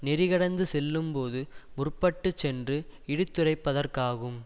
நெறிக்கடந்து செல்லும் போது முற்ப்பட்டுச் சென்று இடித்துரைப்பதற்காகும்